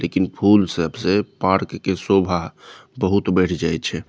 लेकिन फूल सब से पार्क के शोभा बहुत बढ़ जाई छे।